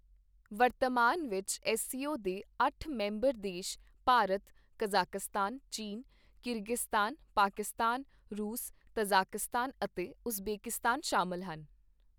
ਵਰਤਮਾਨ ਵਿੱਚ ਐੱਸਸੀਓ ਦੇ ਅੱਠ ਮੈਂਬਰ ਦੇਸ਼ ਭਾਰਤ, ਕਜ਼ਾਕਿਸਤਾਨ, ਚੀਨ, ਕੀਰਗਿਸਤਾਨ, ਪਾਕਿਸਤਾਨ, ਰੂਸ, ਤਜ਼ਾਕਿਸਤਾਨ, ਅਤੇ ਉਜ਼ਬੇਕਿਸਤਾਨ ਸ਼ਾਮਲ ਹਨ।